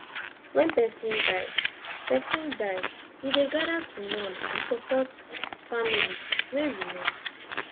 wen person die person die we dey gather to mourn and support family wey remain